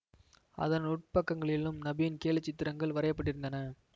அதன் உட்பக்கங்களிலும் நபியின் கேலிச்சித்திரங்கள் வரையப்பட்டிருந்தன